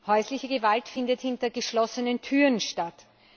Häusliche Gewalt findet hinter geschlossenen Türen statt.